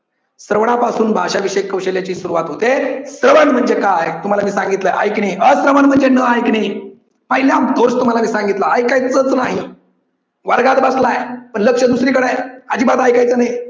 श्रवणापासून भाषा विषय कौशल्याची सुरुवात होते. श्रवण म्हणजे काय तुम्हाला मी सांगितलंय ऐकणे अश्रवण म्हणजे न ऐकणे पहिला दोष तुम्हाला मी सांगितला ऐकायचंच नाही. वर्गात बसलाय पण लक्ष दुसरीकडे हाय. अजिबात ऐकायचं नाही.